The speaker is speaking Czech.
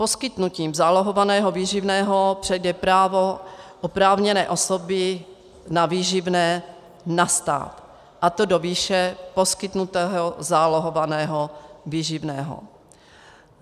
Poskytnutím zálohovaného výživného přejde právo oprávněné osoby na výživné na stát, a to do výše poskytnutého zálohovaného výživného.